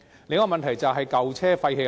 另一個問題便是舊車廢棄的問題。